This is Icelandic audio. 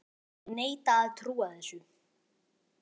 Ég neita að trúa þessu!